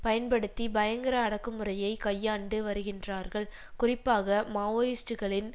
பயன்படுத்தி பயங்கர அடக்குமுறையை கையாண்டு வருகின்றார்கள் குறிப்பாக மாவோயிஸ்டுகளின்